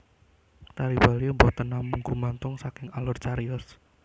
Tari Bali boten namung gumantung saking alur cariyos